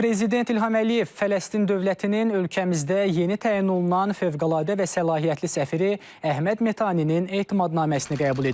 Prezident İlham Əliyev Fələstin dövlətinin ölkəmizdə yeni təyin olunan fövqəladə və səlahiyyətli səfiri Əhməd Metaninin etimadnaməsini qəbul edib.